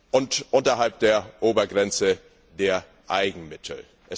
und oberhalb der Obergrenze der Eigenmittel.